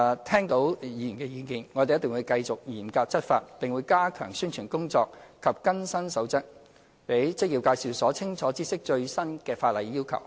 聽到議員的意見後，我們定會繼續嚴格執法，並會加強宣傳工作及更新《守則》，讓職業介紹所清楚知悉最新的法例要求。